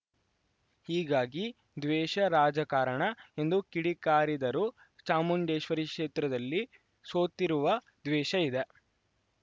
ಹೀಗಾಗಿ ದ್ವೇಷ ರಾಜಕಾರಣ ಎಂದು ಕಿಡಿಕಾರಿದರು ಚಾಮುಂಡೇಶ್ವರಿ ಕ್ಷೇತ್ರದಲ್ಲಿ ಸೋತಿರುವ ದ್ವೇಷ ಇದೆ